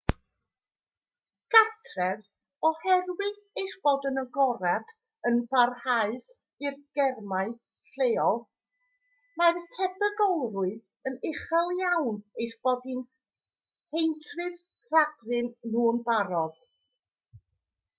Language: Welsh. gartref oherwydd eich bod yn agored yn barhaus i'r germau lleol mae'r tebygolrwydd yn uchel iawn eich bod chi'n heintrydd rhagddyn nhw'n barod